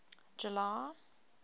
july